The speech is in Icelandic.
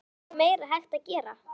Er nokkuð meira hægt að gera?